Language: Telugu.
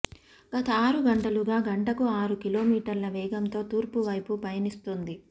గత ఆరు గంటలుగా గంటకు ఆరు కిలోమీటర్ల వేగంతో తూర్పు వైపు పయనిస్తోంది